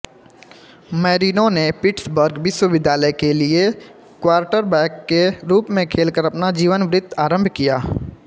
Marino ने Pittsburgh विश्वविद्यालय के लिए क्वार्टरबैक के रूप में खेलकर अपना जीवनवृत आरंभ किया